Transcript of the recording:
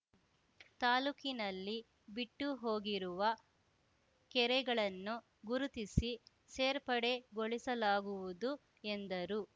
ತಾಲೂಕಿನಲ್ಲಿ ಬಿಟ್ಟು ಹೋಗಿರುವ ಕೆರೆಗಳನ್ನು ಗುರುತಿಸಿ ಸೇರ್ಪಡೆಗೊಳಿಸಲಾಗುವುದು ಎಂದರು